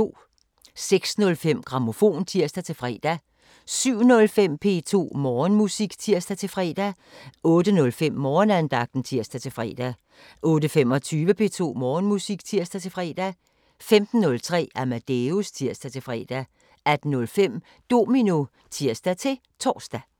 06:05: Grammofon (tir-fre) 07:05: P2 Morgenmusik (tir-fre) 08:05: Morgenandagten (tir-fre) 08:25: P2 Morgenmusik (tir-fre) 15:03: Amadeus (tir-fre) 18:05: Domino (tir-tor)